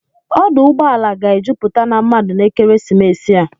Ọdụ ụgbọala ga-ejupụta na mmadụ n'ekeresimesi a.